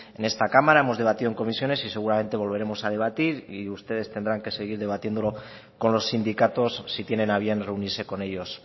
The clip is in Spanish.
en esta cámara hemos debatido en comisiones y seguramente volveremos a debatir y ustedes tendrán que seguir debatiéndolo con los sindicatos si tienen a bien reunirse con ellos